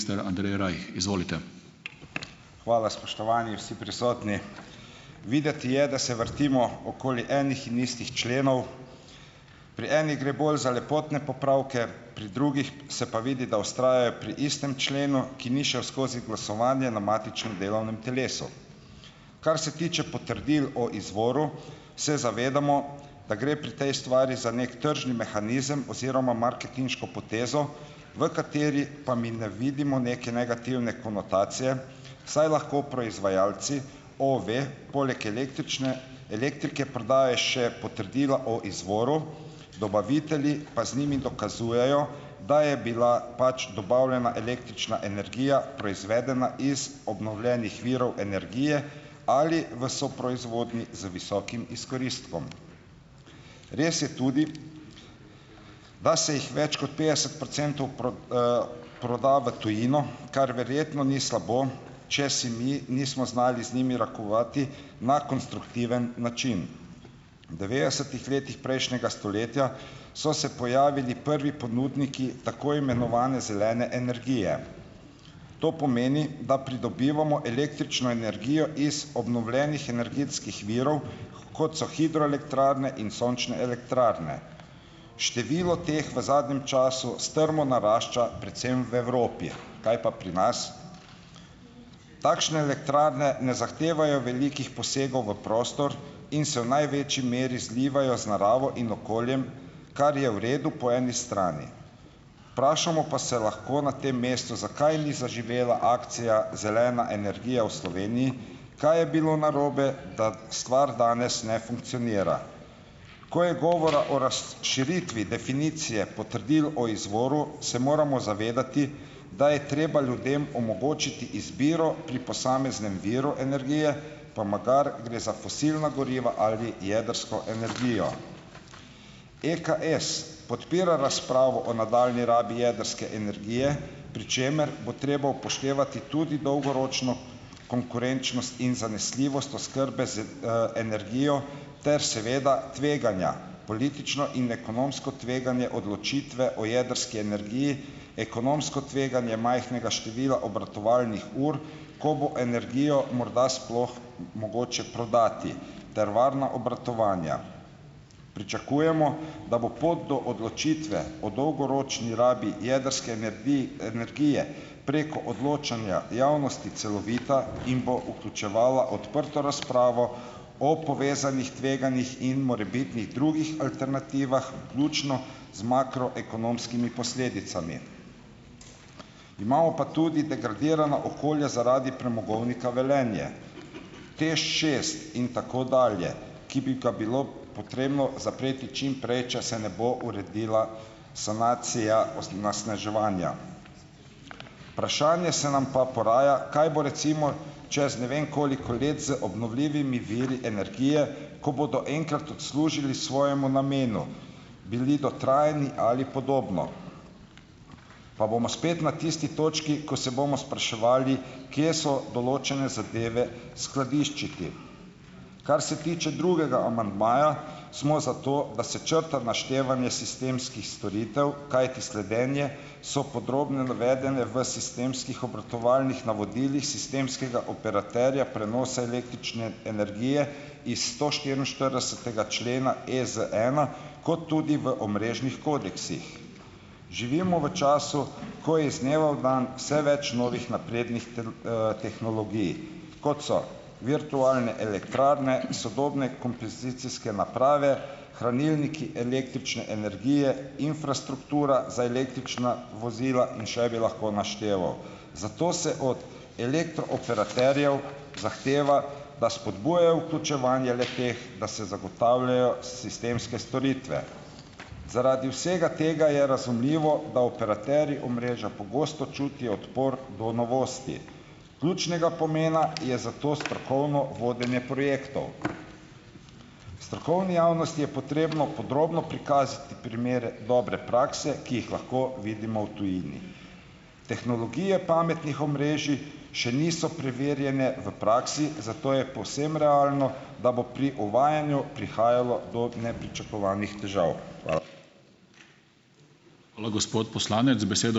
Andrej Rajh, izvolite. Hvala, spoštovani vsi prisotni, videti je, da se vrtimo okoli enih in istih členov, pri enih gre bolj za lepotne popravke, pri drugih se pa vidi, da ostajajo pri istem členu, ki ni šel skozi glasovanje na matičnem delovnem telesu. Kar se tiče potrdil o izvoru, se zavedamo, da gre pri tej stvari za neki tržni mehanizem oziroma marketinško potezo, v kateri pa mi ne vidimo neke negativne konotacije, saj lahko proizvajalci OVE poleg električne elektrike prodaja še potrdila o izvoru, dobavitelji pa z njimi dokazujejo, da je bila pač dobavljena električna energije proizvedena iz obnovljenih virov energije ali v soproizvodnji z visokim izkoristkom. Res je tudi, da se jih več kot petdeset procentov proda v tujino, kar verjetno ni slabo, če si mi nismo znali z njimi rokovati na konstruktiven način, v devetdesetih letih prejšnjega stoletja so se pojavili prvi ponudniki tako imenovane zelene energije, to pomeni, da pridobivamo električno energijo iz obnovljenih energetskih virov, kot so hidroelektrarne in sončne elektrarne, število teh v zadnjem času strmo narašča predvsem v Evropi, kaj pa pri nas, takšne elektrarne ne zahtevajo velikih posegov v prostor in se v največji meri zlivajo z naravo in okoljem, kar je v redu po eni strani, vprašamo pa se lahko na tem mestu, zakaj ni zaživela akcija Zelena energija v Sloveniji, kaj je bilo narobe, ta stvar danes ne funkcionira, ko je govora o razširitvi definicije potrdil o izvoru, se moramo zavedati, da je treba ljudem omogočiti izbiro pri posameznem viru energije, pa magari gre za fosilna goriva ali jedrsko energijo, EKS podpira razpravo o nadaljnji rabi jedrske energije, pri čemer bo treba upoštevati tudi dolgoročno konkurenčnost in zanesljivost oskrbe z, energijo ter seveda tveganja, politično in ekonomsko tveganje odločitve o jedrski energiji, ekonomsko tveganje majhnega števila obratovalnih ur, ko bo energijo morda sploh mogoče prodati ter obratovanja, pričakujemo, da bo pot do odločitve o dolgoročni rabi jedrske energije preko odločanja javnosti celovita in bo vključevala odprto razpravo o povezanih tveganjih in morebitnih drugih alternativah, vključno z makroekonomskimi posledicami, imamo pa tudi degradirana okolja zaradi premogovnika Velenje, TEŠ šest in tako dalje, ki bi ga bilo potrebno zapreti čimprej, če se ne bo uredila sanacija onesnaževanja. Vprašanje se nam pa poraja, kaj bo recimo čez ne vem koliko let z obnovljivimi viri energije, ko bodo enkrat odslužili svojemu namenu, bili dotrajani ali podobno, pa bomo spet na tisti točki, ko se bomo spraševali, kje so določene zadeve skladiščiti, kar se tiče drugega amandmaja, smo za to, da črta naštevanje sistemskih storitev, kajti sledenje, so podrobno navedene v sistemskih obratovalnih navodilih sistemskega operaterja prenosa električne energije iz sto štiriinštiridesetega člena EZ ena kot tudi v omrežnih kodeksih. Živimo v času, ko je iz dneva v dan vse več novih naprednih tehnologij, kot so virtualne elektrarne, sodobne kompozicijske naprave, hranilniki električne energije, infrastruktura za električna vozila in še bi lahko našteval, zato se od elektrooperaterjev zahteva, da spodbujajo vključevanje le-teh, da se zagotavljajo sistemske storitve, zaradi vsega tega je razumljivo, da operaterji omrežja pogosto čutijo odpor do novosti, ključnega pomena je zato strokovno vodenje projektov. V strokovni javnosti je potrebno podrobno prikazati primere dobre prakse, ki jih lahko vidimo v tujini, tehnologije pametnih omrežij še niso preverjene v praksi, zato je povsem realno, da bo pri uvajanju prihajalo do nepričakovanih težav. Hvala, gospod poslanec, za besedo.